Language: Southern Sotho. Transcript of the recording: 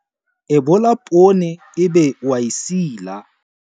Ebola poone ebe o a e sila.